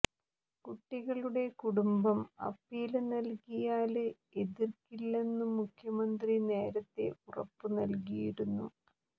കുട്ടികളുടെ കുടുംബം അപ്പീല് നല്കിയാല് എതിര്ക്കില്ലെന്നു മുഖ്യമന്ത്രി നേരത്തെ ഉറപ്പു നല്കിയിരുന്നു